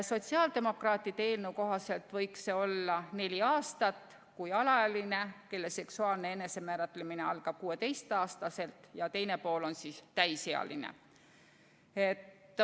Sotsiaaldemokraatide eelnõu kohaselt võiks see olla neli aastat, kui üks pool on alaealine, kelle seksuaalne enesemääratlemine algab 16-aastaselt, ja teine pool on täisealine.